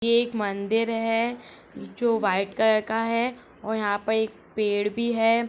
ये एक मंदिर है जो व्हाइट कलर का है और यहाँ पर एक पेड़ भी है।